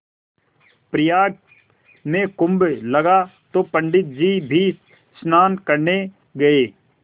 प्रयाग में कुम्भ लगा तो पंडित जी भी स्नान करने गये